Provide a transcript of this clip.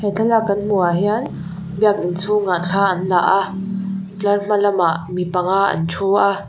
he thlalâk kan hmuhah hian biak in chhûngah thla an la a tlar hmalamah mi panga an ṭhu a.